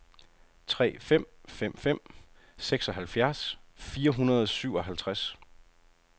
tre fem fem fem seksoghalvfjerds fire hundrede og syvoghalvtreds